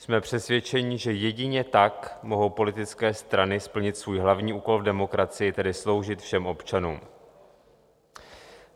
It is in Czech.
Jsme přesvědčeni, že jedině tak mohou politické strany splnit svůj hlavní úkol v demokracii, tedy sloužit všem občanům.